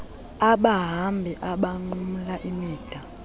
abahambi abanqumla imida